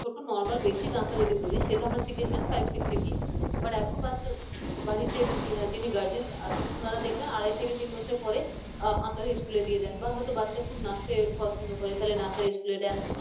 শুধু normal basic আঁকা যদি বলি সেটা আমরা শিখেছিলাম five six গিয়ে but এখন বাচ্চারা বাড়ির যিনি guardian আছেন ওনারা দেখবেন আড়াই থেকে তিন বছর পরে আকার school দিয়ে দেন বা হয়তো বাচ্চা খুব নাচতে পছন্দ করে তাহলে নাচের school দেন